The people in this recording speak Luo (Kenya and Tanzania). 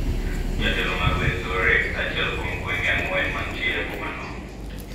Jatelo ma Ruwenzori, achiel kuom gwenge ang`wen mantie e boma no